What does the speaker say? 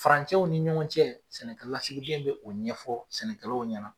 Farancɛw ni ɲɔgɔn cɛ sɛnɛkɛlasiden be o ɲɛfɔ sɛnɛkɛlaw ɲɛna